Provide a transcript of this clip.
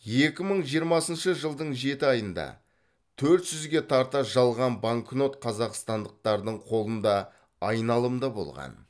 екі мың жиырмасыншы жылдың жеті айында төрт жүзге тарта жалған банкнот қазақстандықтардың қолында айналымда болған